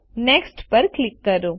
next પર click કરો